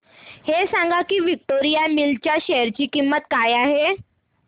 हे सांगा की विक्टोरिया मिल्स च्या शेअर ची किंमत काय आहे